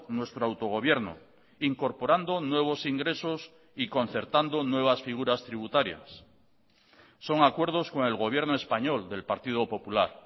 nuestro autogobierno incorporando nuevos ingresos y concertando nuevas figuras tributarias son acuerdos con el gobierno español del partido popular